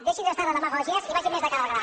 deixi’s estar de demagògies i vagi més de cara al gra